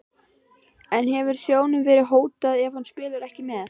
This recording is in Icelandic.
En hefur sjóðnum verið hótað ef hann spilar ekki með?